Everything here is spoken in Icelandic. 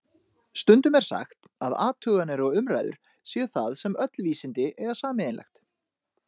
Stundum er sagt að athuganir og umræður séu það sem öll vísindi eiga sameiginlegt.